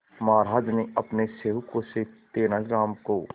महाराज ने अपने सेवकों से तेनालीराम को